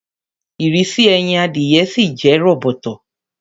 Ìrísí ẹyin adìyẹ ṣìì jẹ́ róbótó